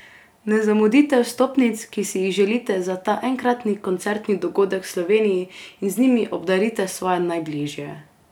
Ne zamudite vstopnic, ki si jih želite za ta enkratni koncertni dogodek v Sloveniji, in z njimi obdarite svoje najbližje!